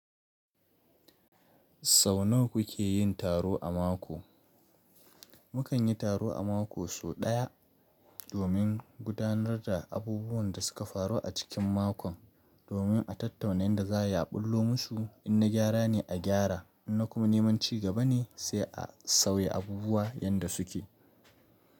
Sau nawa kuke yin taro a mako? Mukan yi taro a mako sau ɗaya domin gudanar da abubuwan da suka faru a cikin makon, domin a tattauna yanda za a ɓullo musu. In na gyara ne, a gyara, in na kuma neman cigaba ne sai a sauya abubuwa yanda suke.